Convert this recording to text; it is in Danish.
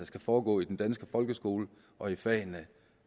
skal foregå i den danske folkeskole og i fagene